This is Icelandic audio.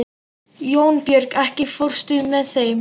Jónbjörg, ekki fórstu með þeim?